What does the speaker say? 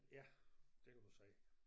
Ja det kan du sige